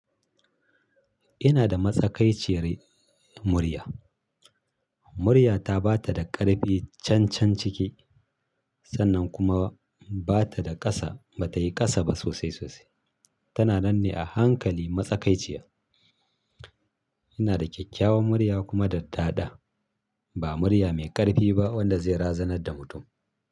Ina da matsakaiciyar murya. Murya ta ba ta da ƙarfi can can ciki, sannan kuma ba ta da ƙasa, ba ta yi ƙasa ba sosai sosai. Tana nan ne a hankali matsakaiciya. Ina da kyakkyawan murya kuma da tada. Ba murya mai ƙarfi ba wadda zai razanar da mutum.